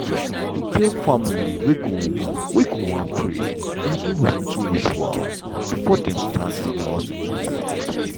e get family wey go wan pray or do ritual before dem start any hospital work.